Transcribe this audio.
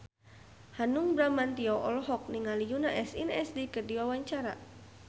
Hanung Bramantyo olohok ningali Yoona SNSD keur diwawancara